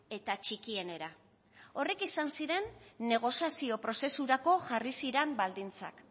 eta txikienera horrek izan ziren negoziazio prozesurako jarri ziren baldintzak